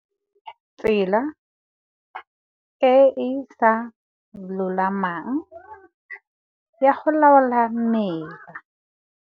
Tsela e e sa lolamang ya go laola mela.